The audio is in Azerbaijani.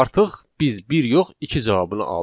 Artıq biz bir yox iki cavabını aldıq.